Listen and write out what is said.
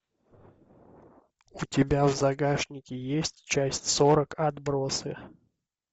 у тебя в загашнике есть часть сорок отбросы